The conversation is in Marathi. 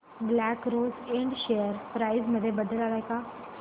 black Rose Ind share price मध्ये बदल आलाय का